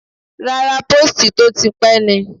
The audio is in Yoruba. Rárá, póòstì tó ti pẹ́ ni.